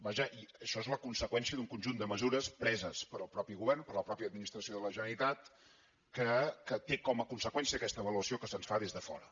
vaja i això és la conseqüència d’un conjunt de mesures preses pel mateix govern per la mateixa administració de la generalitat que té com a conseqüència aquesta avaluació que se’ns fa des de fora